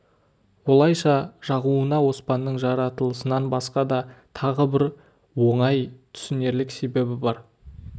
олайша жағуына оспанның жаратылысынан басқа тағы да бір оңай түсінерлік себебі бар